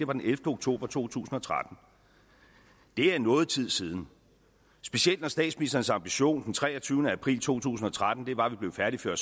var den ellevte oktober to tusind og tretten det er noget tid siden specielt når statsministerens ambition den treogtyvende april to tusind og tretten var at vi blev færdige før